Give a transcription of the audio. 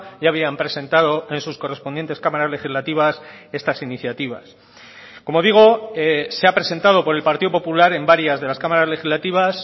ya habían presentado en sus correspondientes cámaras legislativas estas iniciativas como digo se ha presentado por el partido popular en varias de las cámaras legislativas